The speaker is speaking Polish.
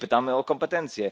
Tutaj pytamy o kompetencje.